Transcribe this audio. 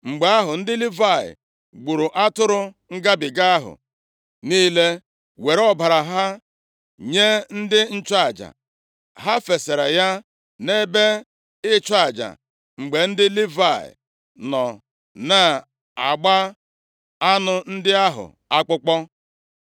Mgbe ahụ ndị Livayị gburu atụrụ ngabiga ahụ niile, were ọbara ha nye ndị nchụaja. Ha fesara ya nʼebe ịchụ aja mgbe ndị Livayị nọ na-agba anụ ndị ahụ akpụkpọ.